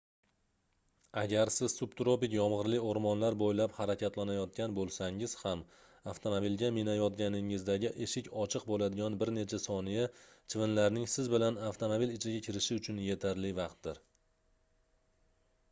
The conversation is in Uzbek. agar siz subtropik yomgʻirli oʻrmonlar boʻylab harakatlanayotgan boʻlsangiz ham avtomobilga minayotganingizdagi eshik ochiq boʻladigan bir necha soniya chivinlarning siz bilan avtomobil ichiga kirishi uchun yetarli vaqtdir